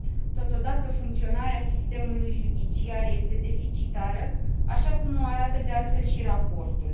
Totodată, funcționarea sistemului judiciar este deficitară, așa cum o arată, de altfel, și raportul.